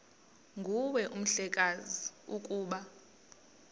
nguwe mhlekazi ukuba